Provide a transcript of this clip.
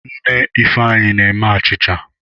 Nne Ifeanyi na-eme achicha.